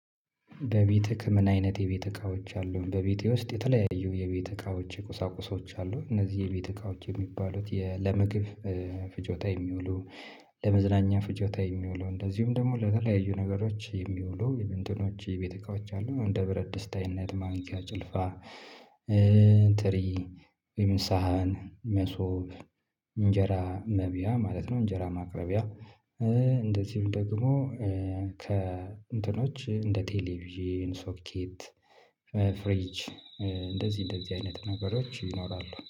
በቤት ህክምና አይነት የቤት እቃዎች አሉን በቤቴ ውስጥ የተለያዩ የቤት እቃዎች የቁሳቁሶች አሉን። እነዚህ የቤት እቃዎች የሚባሉት ለምግብ ፍጆታ የሚውሉ ለመዝናኛ ፍጆታ የሚውሉ እንደዚሁም ደግሞ ለተለያዩ ነገሮች የሚውሉ የእንትኖች የቤት እቃዎች አሉ። እንደ ብረት ድስት አይነት ማንኪያ ጭልፋ ትሪ የምሳሀን መሶብ እንጀራ መብያ ማለት ነው። እንጀራ ማቅረቢያ እንደዚሁም ደግሞ ከ እንትኖች እንደ ቴሌቪዥን ሶኬት ፍሪጅ እንደዚህ እንደዚህ አይነት ነገሮች ይኖራሉ